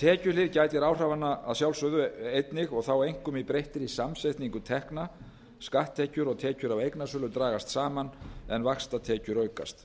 tekjuhlið gætir áhrifanna að sjálfsögðu einnig og þá einkum í breyttri samsetningu tekna skatttekjur og tekjur af eignasölu dragast saman en vaxtatekjur aukast